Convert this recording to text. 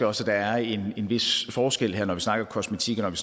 også der er en vis forskel her når vi snakker kosmetik og